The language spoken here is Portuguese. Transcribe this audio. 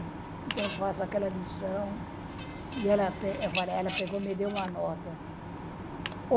Então, faço aquela lição e ela me deu uma nota.